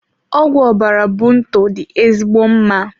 Ọgwụ ọbara bunto dị ezigbo mma.